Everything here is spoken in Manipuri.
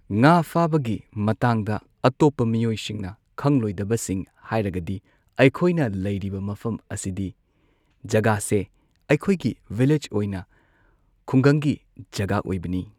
ꯉꯥ ꯐꯥꯕꯒꯤ ꯃꯇꯥꯡꯗ ꯑꯇꯣꯞꯄ ꯃꯤꯑꯣꯢꯁꯤꯡꯅ ꯈꯪꯂꯣꯏꯗꯕꯁꯤꯡ ꯍꯥꯏꯔꯒꯗꯤ ꯑꯩꯈꯣꯏꯅ ꯂꯩꯔꯤꯕ ꯃꯐꯝ ꯑꯁꯤꯗꯤ ꯖꯒꯥꯁꯦ ꯑꯩꯈꯣꯏꯒꯤ ꯚꯤꯂꯦꯖ ꯑꯣꯏꯅ ꯈꯨꯡꯒꯪꯒꯤ ꯖꯒꯥ ꯑꯣꯏꯕꯅꯤ꯫